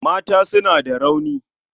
Mata suna da rauni.